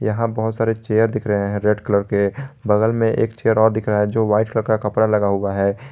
यहां बहोत सारे चेयर दिख रहे हैं रेड कलर के बगल में एक चेयर और दिख रहा है जो वाइट कलर का कपड़ा लगा हुआ है।